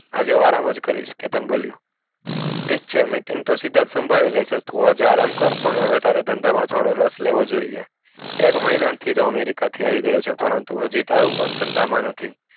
આજે નઈ ચેતન બોલિયો ઠીક છે meeting તો સિદ્ધાર્થ શાંભળી લેશે તું આજે અરંકાર પણ તારે હવે ધંધા માં તારે રાશ લેવો જોશે એક મહિના થી america આવી ગયો છે પણ હજુ તારું મન ધંધા નથી.